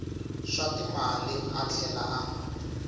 swa timali a tlhela a